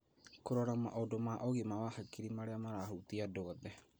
Kũrora maũndũ ma ũgima wa hakiri marĩa marahutia andũ othe.